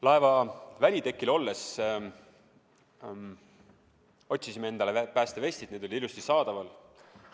Laeva välitekil olles otsisime endale päästevestid, need olid ilusti saadaval.